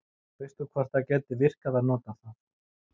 veist þú hvort það gæti virkað að nota það